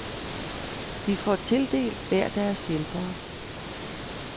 De får tildelt hver deres hjælpere.